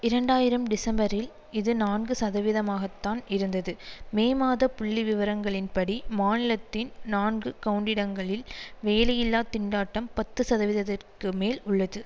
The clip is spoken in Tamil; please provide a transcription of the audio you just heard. இரண்டாயிரம் டிசம்பரில் இது நான்கு சதவீதமாகத்தான் இருந்தது மே மாத புள்ளி விவரங்களின்படி மாநிலத்தின் நான்கு கவுண்டிடங்களில் வேலையில்லா திண்டாட்டம் பத்துசதவீதத்திற்கு மேல் உள்ளது